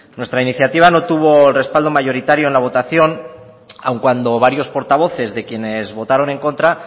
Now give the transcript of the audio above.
nuestra iniciativa no tuvo respaldo mayoritario en la votación aun cuando varios portavoces de quienes votaron en contra